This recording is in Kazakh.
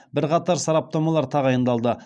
бірқатар сараптамалар тағайындалды